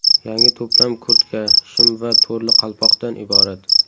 Yangi to‘plam kurtka, shim va to‘rli qalpoqdan iborat.